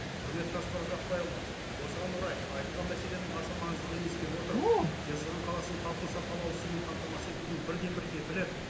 құрметті асқар ұзақбайұлы осыған орай айтылған мәселенің аса маңыздылығын ескере отырып жезқазған қаласының халқын сапалы ауызсумен қамтамасыз етудің бірден бір кепілі